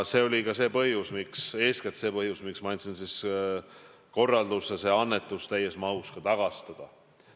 See oli eeskätt põhjus, miks ma andsin korralduse see annetus täies mahus tagastada.